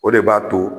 O de b'a to